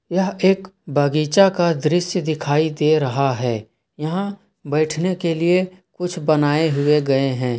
यह एक बागीचा का दृश्य दिखाई दे रहा है यहां बैठने के लिए कुछ बनाए हुए गए हैं।